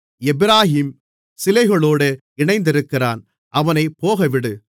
எப்பிராயீம் சிலைகளோடு இணைந்திருக்கிறான் அவனைப் போகவிடு